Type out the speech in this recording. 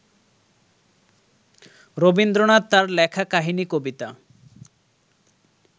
রবীন্দ্রনাথ তার লেখা কাহিনিকবিতা